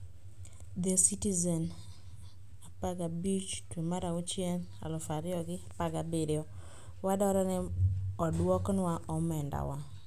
The Citizen, 15/6/17: "Wadwaro ni odwoknwa omendawa".